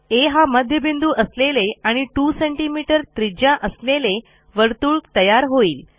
आ हा मध्यबिंदू असलेले आणि 2सीएम त्रिज्या असलेले वर्तुळ तयार होईल